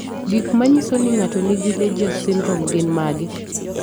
Gik manyiso ni ng'ato nigi Legius syndrome gin mage?